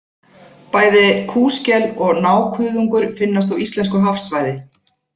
Bæði kúskel og nákuðungur finnast á íslensku hafsvæði.